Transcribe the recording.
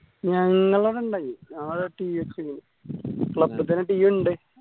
ഞങ്ങളവട ഇണ്ടയ്ൻ ഞങ്ങളെ ആട TV വെച്ചിന് club തന്നെ TV ഇണ്ടയ്ൻ